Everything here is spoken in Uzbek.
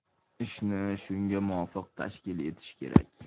Ishni shunga muvofiq tashkil etish kerak.